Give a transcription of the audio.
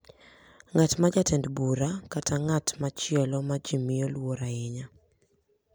Ng’at ma en jatend bura, kata ng’at machielo ma ji miyo luor ahinya,